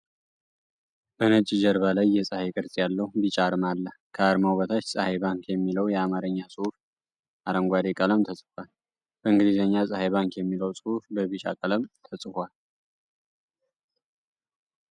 በነጭ ጀርባ ላይ የፀሐይ ቅርጽ ያለው ቢጫ አርማ አለ። ከአርማው በታች "ፀሐይ ባንክ" የሚለው የአማርኛ ጽሑፍ አረንጓዴ ቀለም ተጽፏል። በእንግሊዝኛ "ጸሃይ ባንክ" የሚለው ጽሑፍ በቢጫ ቀለም ተጽፎ አለ።